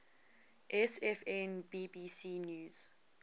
sfn bbc news